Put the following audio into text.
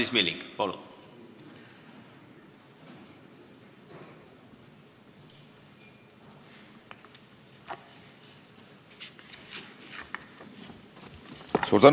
Madis Milling, palun!